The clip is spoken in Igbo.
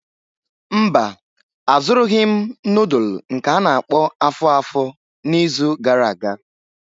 Mba, azụrụghị m nudulu nke a-na akpo afo-afo n'izu gara aga.